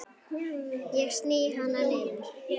Ég sný hana niður.